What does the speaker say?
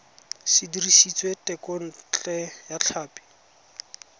se dirisitswe thekontle ya tlhapi